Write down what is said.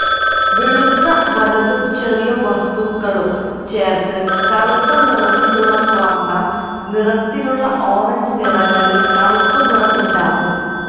വെളുത്ത വലുതും ചെറിയ വസ്തുക്കളും ചേർത്ത് കറുത്ത നിറത്തിലുള്ള സ്വർണ്ണ നിറത്തിലുള്ള ഓറഞ്ച് നിറങ്ങളിൽ കറുപ്പ് നിറം ഉണ്ടാകും